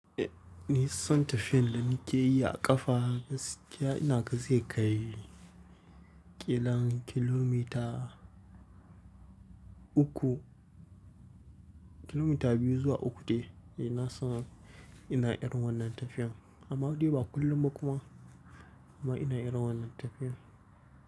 Eh ni son tafiyan da nake yi a ƙafa, gaskiya ina gani zai kai ƙilan kilomita uku, kilomita biyu zuwa uku dai nasan ina ɗiran wannan tafiyan. Amma dai ba kullum ba kuma amma ina ɗiran wannan tafiyan.